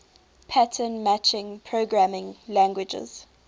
pattern matching programming languages